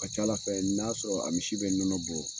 A ka ca Ala fɛ n'a sɔrɔ a misi bɛ nɔnɔ bɔ